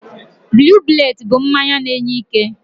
Blue bullet bụ mmanya na-enye ike.